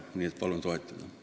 Palun seda eelnõu toetada!